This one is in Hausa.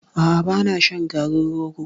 A'a ba na shan garin rogo.